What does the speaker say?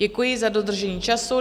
Děkuji za dodržení času.